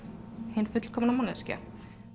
hin fullkomna manneskja